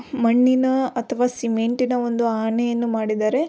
ಮಣ್ಣಿನ ಅಥವಾ ಸಿಮೆಂಟಿನ ಒಂದು ಆನೆಯನ್ನು ಮಾಡಿದ್ದಾರೆ.